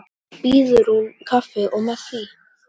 Svo býður hún kaffi og með því.